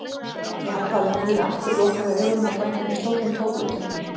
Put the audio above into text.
Ég hallaði höfðinu aftur, lokaði augunum og fann hvernig stóllinn tók utan um mig.